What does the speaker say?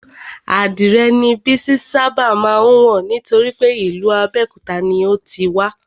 Adìrè ni Bísí ṣábà má ń wọ̀ nítorípé ìlú Abéòkúta ni o ti wá